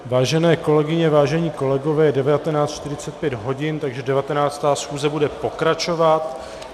Vážené kolegyně, vážení kolegové, je 19.45 hodin, takže 19. schůze bude pokračovat.